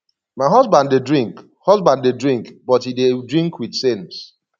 my husband dey drink husband dey drink but he dey drink with sense